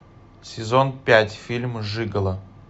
сезон пять фильм жиголо